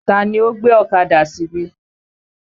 Tani ó gbé ọ̀kadà síbí?